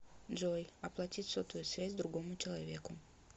джой оплатить сотовую связь другому человеку